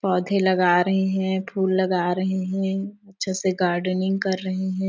पौधे लगा रही है फूल लगा रही है अच्छे से गार्डनिंग कर रही हैं ।